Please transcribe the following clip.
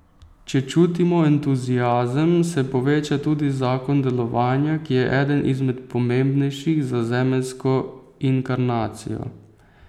Če čutimo entuziazem, se poveča tudi zakon delovanja, ki je eden izmed pomembnejših za zemeljsko inkarnacijo.